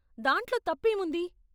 దాంట్లో తప్పేముంది?